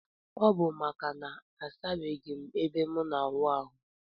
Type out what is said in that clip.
Ọbu maka na asabeghim ebe mu na awụ ahu.